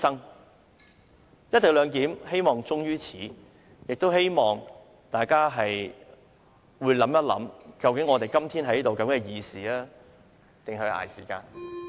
我希望"一地兩檢"終於此，亦希望大家會想想，究竟我們今天在這裏是議事或是捱時間？